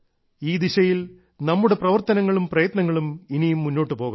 ഈ ദിശയിൽ നമ്മുടെ പ്രവർത്തനങ്ങളും പ്രയത്നങ്ങളും ഇനിയും മുന്നോട്ടു പോകണം